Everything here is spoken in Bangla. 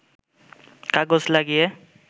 কাগজ লাগিয়ে